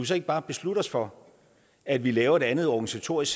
så ikke bare beslutte os for at vi laver et andet organisatorisk